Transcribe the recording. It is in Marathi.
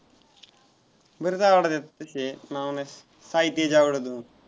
बरेच आवडतात तसे. नाव नाही, साई तेज आवडतो.